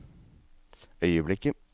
øyeblikket